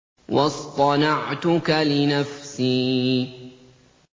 وَاصْطَنَعْتُكَ لِنَفْسِي